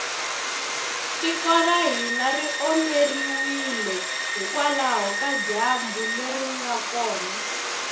tiko ra hina ri omeriwile hikwalaho ka dyambu leri nga kona